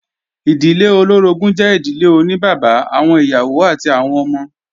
Ìdílé olóorogún jẹ́ ìdílé oní bàbá, àwọn ìyàwó àti àwọn ọmọ